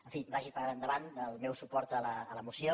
en fi vagi per endavant el meu suport a la moció